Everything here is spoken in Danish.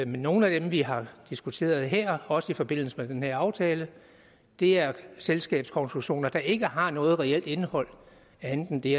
nogle af dem vi har diskuteret her også i forbindelse med den her aftale er selskabskonstruktioner der ikke har noget reelt indhold andet end det